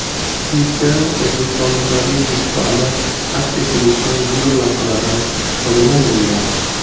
Klipda o‘zbekistonliklarning yutuqlarini aks ettiruvchi videolavhalardan foydalanilgan.